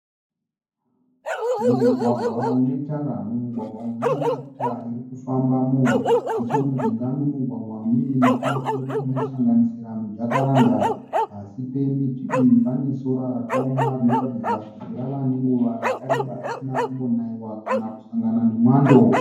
Mugwagwa une Tara munemota dzinofambamo. Nechemujinga memugwagwa mune miti inosanga nisira mijakaranda. Pasi pemiti panesora rinoratidza kuti rava nenguva risina kumbonaiwa kana kusangana nemwando.